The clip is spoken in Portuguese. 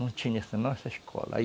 Não tinha senão essa escola.